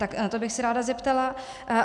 Na to bych se ráda zeptala.